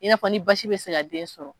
I n'a fɔ ni basi bɛ se ka den sɔrɔ